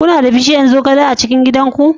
Kuna da bishiyar zogale a cikin gidan ku?